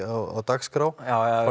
á dagskrá já